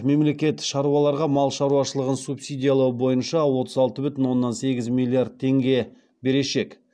мемлекет шаруаларға мал шаруашылығын субсидиялау бойынша отыз алты бүтін оннан сегіз миллион теңге берешек